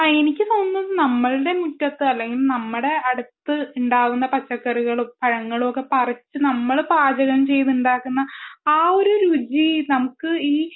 ആഹ് എനിക്കും തോന്നുന്നത് നമ്മുടെ മുറ്റത്തു അല്ലെങ്കിൽ നമ്മടെ അടുത്ത് ഉണ്ടാകുന്ന പച്ചക്കറികളും പഴങ്ങളും പറിച്ചു നമ്മൾ പാചകം ചെയ്തു ഉണ്ടാക്കുന്ന ആ ഒരു രുചി